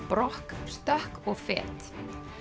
brokk stökk og fet